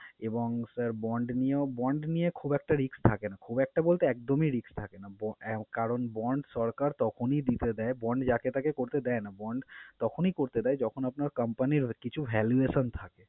এবং sir bond নিয়েও bond নিয়ে খুব একটা risk থাকে না, খুব একটা বলতে একদমই risk থাকে না। ব~ আহ কারন bond সরকার তখনই দিতে দেয় bond যাকে তাঁকে করতে দেয় না, bond তখনই করতে দেয় যখন আপনার company র কিছু valuation থাকে।